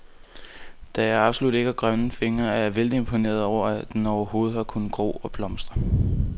Da jeg absolut ikke har grønne fingre, er jeg vældig imponeret over, at den overhovedet har kunnet gro og blomstre.